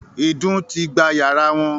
“ìdun ” ti gba yàrá wọn